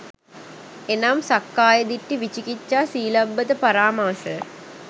එනම් සක්කාය දිට්ඨි, විචිකිච්ඡා, සීලබ්බත පරාමාස